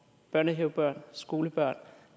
børnehavebørn skolebørn